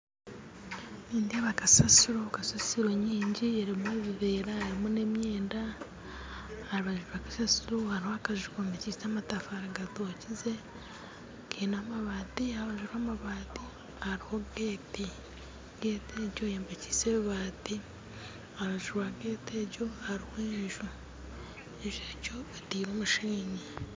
Nindeeba kasasiro kasasiro nyingi erumu ebivera erumu na emyenda harubaju rwa kasasiro hariho akaju kombikyise amatafare gatokyize kaine amabati harubaju rwa amabati hariho gate gate egyo eyombikyise rubati harubaju rwa gate egyo hariho enju, enju egyo etiirwe mushenyi